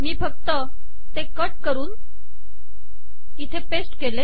मी फक्त ते कट करून इथे पेस्ट केले